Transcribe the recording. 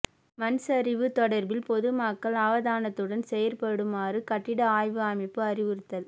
மண்சரிவு தொடர்பில் பொது மக்கள் அவதானத்துடன் செயற்படுமாறு கட்டிட ஆய்வு அமைப்பு அறிவுறுத்தல்